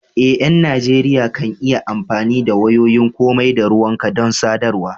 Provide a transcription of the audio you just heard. Eh, ƴan Najeriya kan yi amfani da wayoyin komai da ruwanka don sadarwa.